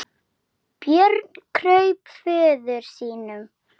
Björn kraup föður sínum.